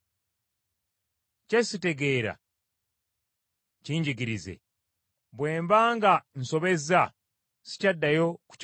kye sitegeera kinjigirize, bwe mba nga nsobezza sikyaddayo kukikola,